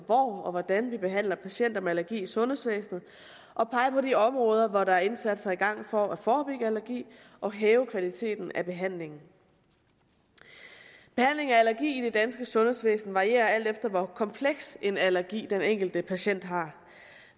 og hvordan vi behandler patienter med allergi i sundhedsvæsenet og pege på de områder hvor der er indsatser i gang for at forebygge allergi og hæve kvaliteten af behandlingen behandlingen af allergi i det danske sundhedsvæsen varierer alt efter hvor kompleks en allergi den enkelte patient har